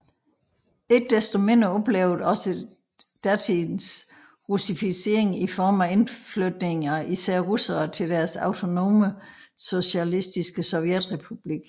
Ikke desto mindre oplevede også de datidens russificering i form af indflytning af især russere til deres autonome socialistiske sovjetrepublik